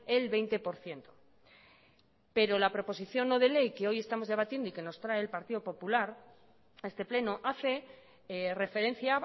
el veinte por ciento pero la proposición no de ley que hoy estamos debatiendo y que nos trae el partido popular a este pleno hace referencia